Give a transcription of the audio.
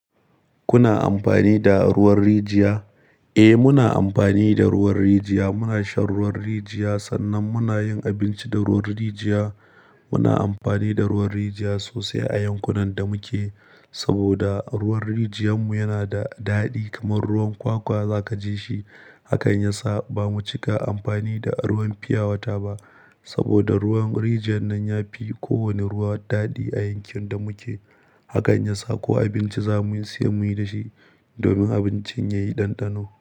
Kuna amfani da ruwan rijiya? Eh, muna amfani da ruwan rijiya. Muna shan ruwan rijiya, sannan muna yin abinci da ruwan rijiya. Muna amfani da ruwan rijiya sosai a yankunan da muke, saboda ruwan rijiyan mu yana da daɗi kamar ruwan kwakwa za ka ji shi. Hakan ya sa ba mu cika amfani da ruwan fiyawata ba, saboda ruwan rijiyan nan ya fi kowane ruwa daɗi a yankin da muke. Hakan ya sa ko abinci za muyi, siyan muyi da shi domin abincin ya yi ɗanɗano.